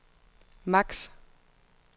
max